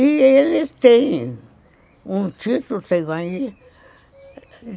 E ele tem um título, tem aí.